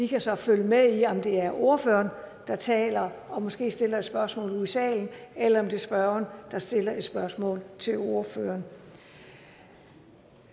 kan så følge med i om det er ordføreren der taler og måske stiller et spørgsmål ud i salen eller om det er spørgeren der stiller et spørgsmål til ordføreren